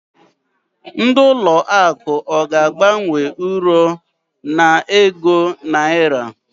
Ndị ụlọ akụ ọ ga-agbanwe Uro a n'ego Naira?